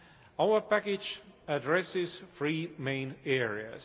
Our package addresses three main areas.